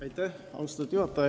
Austatud juhataja!